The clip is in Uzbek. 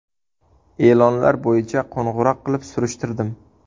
E’lonlar bo‘yicha qo‘ng‘iroq qilib, surishtirdim.